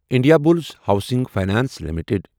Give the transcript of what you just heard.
Indiabulls housing finance limited